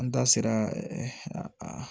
An da sera